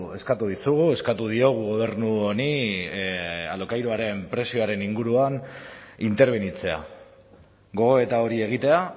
eskatu dizugu eskatu diogu gobernu honi alokairuaren prezioaren inguruan interbenitzea gogoeta hori egitea